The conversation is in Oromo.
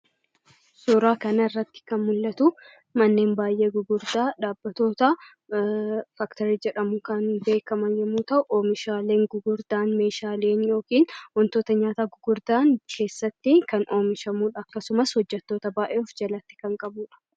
Suuraaa kana irratti kan mul'atu manneen baay'ee gurguddaa dhaabbatoota "faaktorii" jedhamuun kan beekaman yemmuu ta'u, omishaaleen gurguddaan meeshaaleen yookiin wantoonni nyaataa gurguddaan achi keessatti kan oomishamudh: akkasumas hojjettoota baay'ee kan ofjalatti qabudha.